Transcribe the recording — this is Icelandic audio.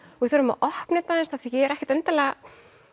þurfum að opna þetta aðeins af því að ég er ekkert endilega